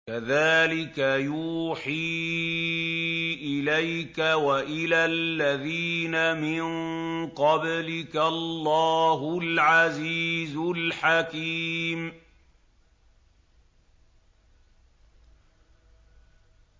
كَذَٰلِكَ يُوحِي إِلَيْكَ وَإِلَى الَّذِينَ مِن قَبْلِكَ اللَّهُ الْعَزِيزُ الْحَكِيمُ